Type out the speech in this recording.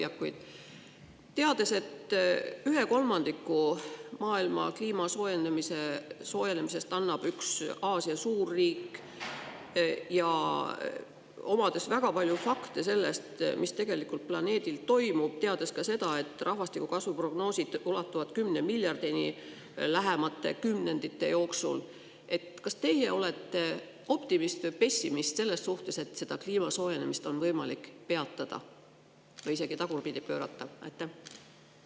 Kui teada, et ühe kolmandiku maailma kliima soojenemisest annab üks Aasia suurriik, ja kui teada väga palju fakte selle kohta, mis tegelikult planeedil toimub, ka seda, et rahvastiku kasvu prognoosid ulatuvad 10 miljardi inimeseni lähimate kümnendite jooksul, siis kas teie olete kliimasoojenemise võimaliku peatamise või isegi tagurpidi pööramise suhtes optimist või pessimist?